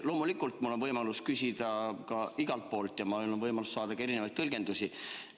Loomulikult on mul võimalus küsida igalt poolt ja mul on võimalus saada ka mitmesuguseid tõlgendusi.